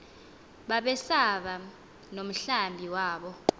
babesaba nomhlambi wabo